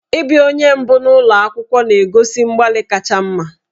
Ịbịa onye mbụ n'ụlọ akwụkwọ na-egosi mgbalị kacha mma.